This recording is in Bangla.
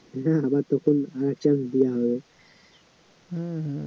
হ্যা হম